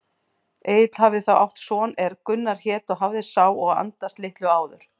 Egill hafði þá átt son er Gunnar hét og hafði sá og andast litlu áður.